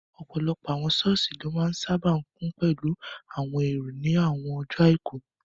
Ọ̀pọ̀lọpọ̀ àwọn sọ́ọ̀sì ló máa n sáábà kún pẹ̀lú àwọn èrò ní àwọn ọjọ́ àìkú